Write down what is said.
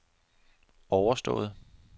overstået